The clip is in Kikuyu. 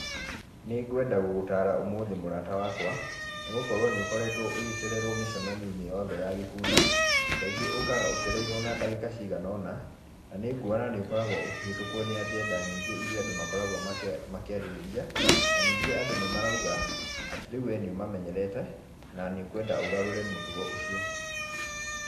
Nĩgwenda gũgũtara ũmũthĩ mũrata wakwa, nĩ gũkorwo nĩ ũkoretwo ũgĩcererwo mĩcemanio-inĩ yothe ya gĩkundi. Kaingĩ ũũkaga ũcereirwo na ndagĩka ciganoona, na nĩ nguona nĩ ũkoragwo ũkĩhĩtũkwo nĩ agenda nyingĩ iria andũ makoragwo makĩarĩrĩria, Na ningĩ andũ nĩ marauga atĩ rĩu we nĩ ũmamenyerete na nĩũkwenda ũgarũre mũtugo ũcio.